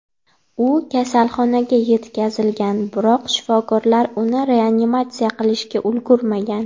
U kasalxonaga yetkazilgan, biroq shifokorlar uni reanimatsiya qilishga ulgurmagan.